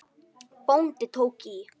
Bóndi tók í.